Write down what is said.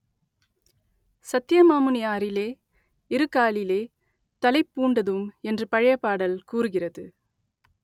சத்ய மாமுனி ஆறிலே இருகாலிலே தளைப்பூண்டதும் என்று பழைய பாடல் கூறுகிறது